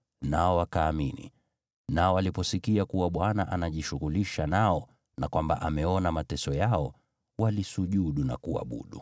nao wakaamini. Nao waliposikia kuwa Bwana anajishughulisha nao, na kwamba ameona mateso yao, walisujudu na kuabudu.